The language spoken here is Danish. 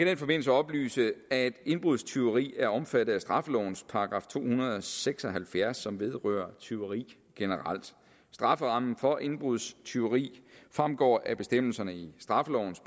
den forbindelse oplyse at indbrudstyveri er omfattet af straffelovens § to hundrede og seks og halvfjerds som vedrører tyveri generelt strafferammen for indbrudstyveri fremgår af bestemmelserne i straffelovens